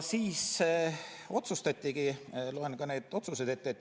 Siis tehti otsused, loen ka need ette.